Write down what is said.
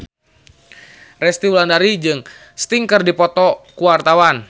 Resty Wulandari jeung Sting keur dipoto ku wartawan